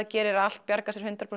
gerir allt